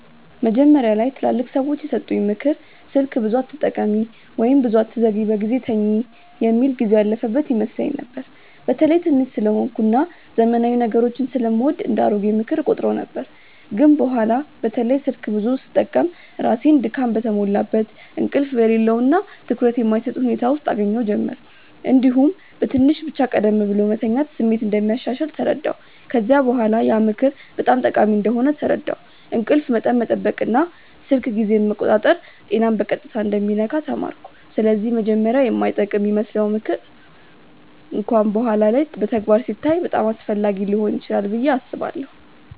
መጀመሪያ ላይ ትላልቅ ሰዎች የሰጡኝ “ምክር ስልክ ብዙ አትጠቀሚ” ወይም “ብዙ አትዘግይ በጊዜ ተኝ” የሚል ጊዜው ያለፈበት ይመስለኝ ነበር። በተለይ ትንሽ ስለሆንኩ እና ዘመናዊ ነገሮችን ስለምወድ እንደ “አሮጌ ምክር” እቆጥረው ነበር። ግን በኋላ በተለይ ስልክ ብዙ ስጠቀም ራሴን ድካም የተሞላበት፣ እንቅልፍ የሌለው እና ትኩረት የማይሰጥ ሁኔታ ውስጥ እገኛ ጀመርሁ። እንዲሁም በትንሽ ብቻ ቀደም ብሎ መተኛት ስሜት እንደሚያሻሽል ተረዳሁ። ከዚያ በኋላ ያ ምክር በጣም ጠቃሚ እንደሆነ ተረዳሁ፤ እንቅልፍ መጠን መጠበቅ እና ስልክ ጊዜን መቆጣጠር ጤናን በቀጥታ እንደሚነካ ተማርኩ። ስለዚህ መጀመሪያ የማይጠቅም ይመስለው ምክር እንኳን በኋላ በተግባር ሲታይ በጣም አስፈላጊ ሊሆን ይችላል ብዬ አስባለሁ።